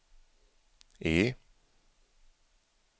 E